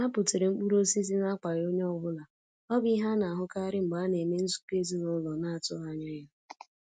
Ha butere mkpụrụ osisi n'akwaghị onye ọ bụla, ọ bụ ihe a na-ahụkarị mgbe a na-eme nzukọ ezinaụlọ na-atụghị anya ya.